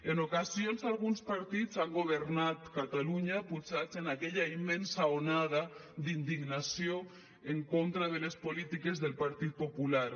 en ocasions alguns partits han governat catalunya pujats en aquella immensa onada d’indignació en contra de les polítiques del partit popular